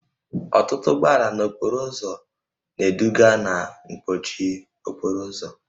Ọtụtụ ụgbọala n'okporo ụzọ na-eduga na mkpọchi okporo ụzọ